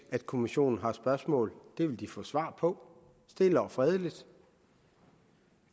at kommissionen har spørgsmål dem vil de få svar på stille og fredeligt